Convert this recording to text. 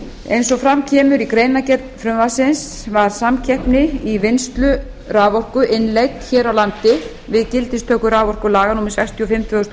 eins og fram kemur í greinargerð frumvarpsins var samkeppni í vinnslu raforku innleidd hér á landi við gildistöku raforkulaga númer sextíu og fimm tvö þúsund og